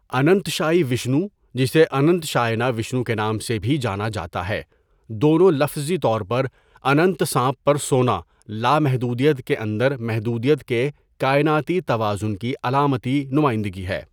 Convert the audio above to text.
اننتشائی وشنو، جسے اننتشاینا وشنو کے نام سے بھی جانا جاتا ہے دونوں لفظی طور پر 'اننتا سانپ پر سونا'، لامحدودیت کے اندر محدودیت کے کائناتی توازن کی علامتی نمائندگی ہے.